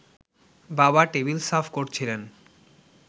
বাবা টেবিল সাফ করছিলেন